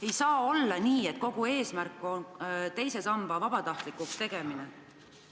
Ei saa olla nii, et kogu eesmärk on teise samba vabatahtlikuks tegemine.